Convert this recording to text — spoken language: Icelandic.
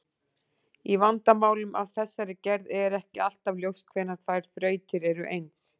Í vandamálum af þessari gerð er ekki alltaf ljóst hvenær tvær þrautir eru eins.